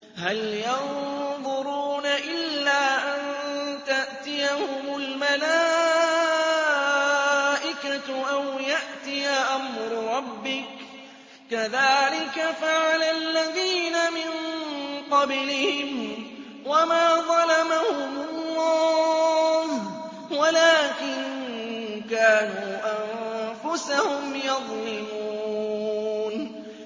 هَلْ يَنظُرُونَ إِلَّا أَن تَأْتِيَهُمُ الْمَلَائِكَةُ أَوْ يَأْتِيَ أَمْرُ رَبِّكَ ۚ كَذَٰلِكَ فَعَلَ الَّذِينَ مِن قَبْلِهِمْ ۚ وَمَا ظَلَمَهُمُ اللَّهُ وَلَٰكِن كَانُوا أَنفُسَهُمْ يَظْلِمُونَ